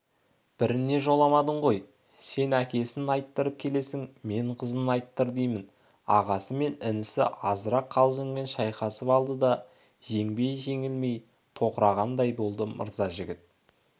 біріне жоламадың ғой сен әкесін айттырып келесің мен қызын айттыр деймін ағасы мен інісі азырақ қалжыңмен шайқасып алды да жеңбей-жеңілмей тоқырағандай болды мырзажігіт